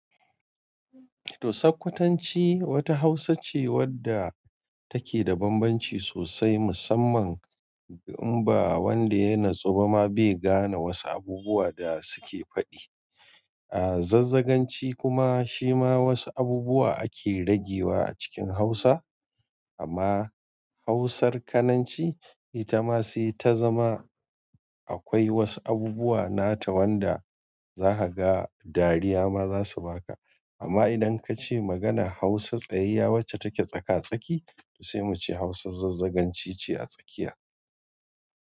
To, Sokkwatanci wata Hausa ce wadda take da banbanci sosai musamman in ba wanda yana tsuba ma bai gane wasu abubuwa da suke faɗi. Zazzaganci kuma shima wasu abubuwa ake ragewa a cikin hausa amma Hausar Kananci ita ma sai ta zama akwai wasu abubuwa nata wanda za ka ga dariya ma za su baka. Amma idan kace maganan Hausa tsayayya wacce take tsaka-tsaki to sai muce Hausar Zazzaganci ce a tsakiya.